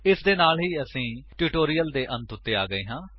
ਇਸਦੇ ਨਾਲ ਅਸੀ ਇਸ ਟਿਊਟੋਰਿਅਲ ਦੀ ਅੰਤ ਉੱਤੇ ਆ ਗਏ ਹਾਂ